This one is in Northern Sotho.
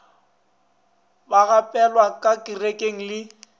ba gapelwa ka kerekeng le